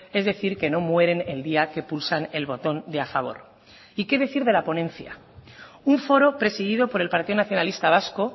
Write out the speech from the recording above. es decir que no mueren el día que pulsan el botón de a favor y qué decir de la ponencia un foro presidido por el partido nacionalista vasco